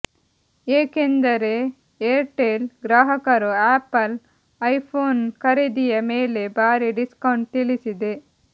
ಏಕೆಂದರೇ Airtel ಗ್ರಾಹಕರು Apple iPhone ಖರೀದಿಯ ಮೇಲೆ ಭಾರಿ ಡಿಸ್ಕೌಂಟ್ ತಿಳಿಸಿದೆ